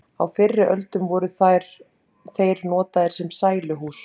Á fyrri öldum voru þeir notaðir sem sæluhús.